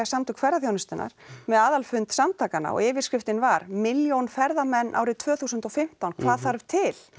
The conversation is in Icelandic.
Samtök ferðaþjónustunnar með aðalfund samtakanna og yfirskriftin var milljón ferðamenn árið tvö þúsund og fimmtán hvað þarf til